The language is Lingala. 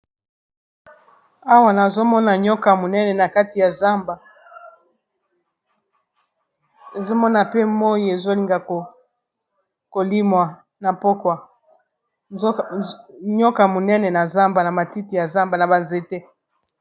Awa nazomona nioka munene na kati ya zamba, ezomona pe moi ezolinga kolimwa na pokwa nioka monene na zamba na matiti ya zamba na banzete.